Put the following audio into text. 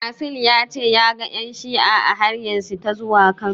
Asil ya ce ya ga ƴan shi'a a hanyarsa ta zuwa Kano.